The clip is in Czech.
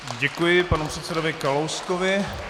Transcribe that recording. Děkuji panu předsedovi Kalouskovi.